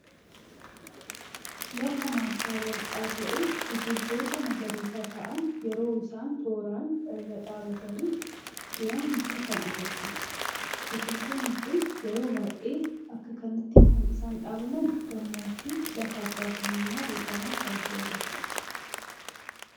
Lafa maasa baldha ta'e biqiltoota magariisa ta'aan yeroo isaan tooraan irra dhabbatani jiran nutti kan agarsiisuudha. biqiltoonni kun yeroo baay'ee akka kanati kan isaan dhaabaman gammoojji lafa abba qabeenyaa beekama kan ta'e irrattidha.